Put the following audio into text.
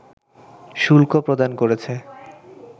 শুল্ক প্রদান করেছে